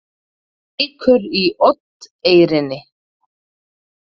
Reykur í Oddeyrinni